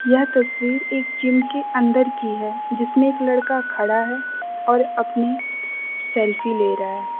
यह तस्वीर एक जिम के अंदर की है जिसमें एक लड़का खड़ा है और अपनी सेल्फी ले रहा है।